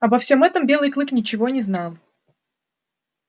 обо всём этом белый клык ничего не знал